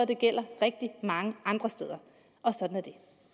det gælder rigtig mange andre steder og sådan er